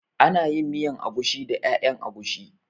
Ana yin miyan agushi da ƴaƴan agushi